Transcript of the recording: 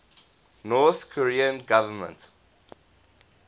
north korean government